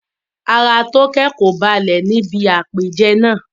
Ara Toke kò balẹ̀ ní ibi àpèjẹ náà.